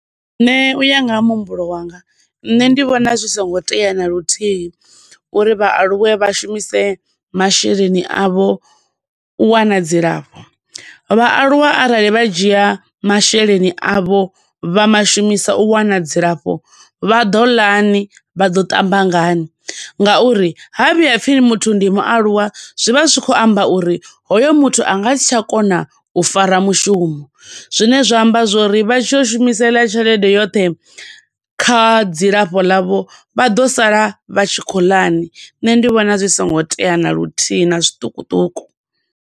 Nṋe u ya nga ha muhumbulo wanga, nṋe ndi vhona zwi songo tea na luthihi, uri vhaaluwa vha shumise masheleni avho, u wana dzi lafho. Vhaaluwa arali vha dzhia masheleni avho, vha mashumisa u wana dzilafho, vha ḓo ḽa ni? Vha ḓo ṱamba ngani? nga uri ha vhiya ha pfi muthu ndi mualuwa zwi vha zwi tshi khou amba uri hoyo muthu anga si tsha kona u fara mushumo, zwine zwa amba zwo uri vha tshi ya u shumisa eḽa tshelede yoṱhe kha dzi lafho ḽavho, vha ḓo sala vha tshi khou ḽa ni? Nṋe ndi vhona zwi songo tea na luthihi, na zwiṱukuṱuku.